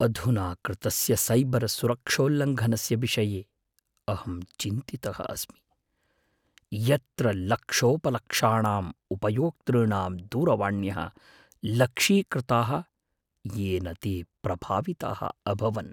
अधुना कृतस्य सैबर् सुरक्षोल्लङ्घनस्य विषये अहं चिन्तितः अस्मि, यत्र लक्षोपलक्षाणाम् उपयोक्तॄणां दूरवाण्यः लक्षीकृताः येन ते प्रभाविताः अभवन्।